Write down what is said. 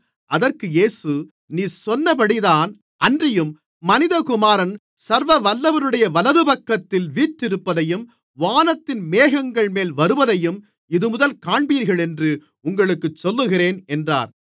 அதற்கு இயேசு நீர் சொன்னபடிதான் அன்றியும் மனிதகுமாரன் சர்வவல்லவருடைய வலதுபக்கத்தில் வீற்றிருப்பதையும் வானத்தின் மேகங்கள்மேல் வருவதையும் இதுமுதல் காண்பீர்களென்று உங்களுக்குச் சொல்லுகிறேன் என்றார்